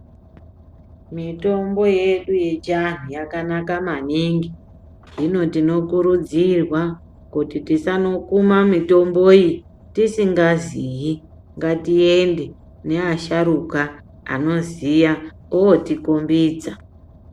Mitombo yedu yechiantu yakanaka maningi, hino tinokurudzirwa kuti tisanokuma mitombo iyi tisingaziyi ngatiende neasharuka anoziya otikombidza.